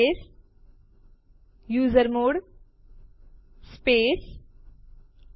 MV CP સમાન જ છે જે આપણે પહેલેથી જ જોયું છે